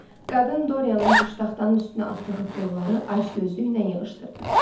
Qadın Dorianın piştaxtanın üstünə atdığı pulları acgözlüklə yığışdırdı.